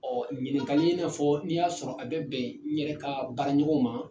Ɔ ɲininkali i n'a fɔ n'i y'a sɔrɔ a bɛ bɛn n yɛrɛ ka baaraɲɔgɔnw ma